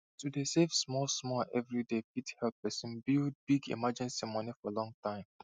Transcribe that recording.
to dey save small small every day fit help person build big emergency moni for long time